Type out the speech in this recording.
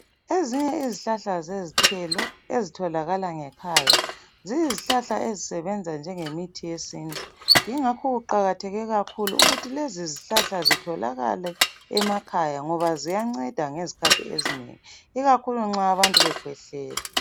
Ezinye izihlahla zezithelo ezitholakala ngekhaya ziyizihlahla ezisetshenziswa njengemithi yesintu yingakho kuqakatheke kakhulu ukuthi lezi zihlahla zitholakale emakhaya ngoba ziyanceda ngezikhathi ezinengi, ikakhulu nxa abantu bekhwehlela.